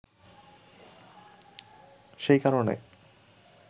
সেই কারণে